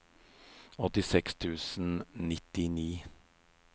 åttiseks tusen og nittini